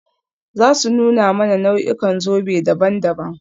Za su nuna mana nau'ikan zobe daban-daban.